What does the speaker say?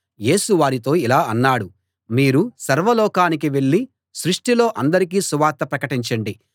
యేసు వారితో ఇలా అన్నాడు మీరు సర్వ లోకానికీ వెళ్ళి సృష్టిలో అందరికీ సువార్త ప్రకటించండి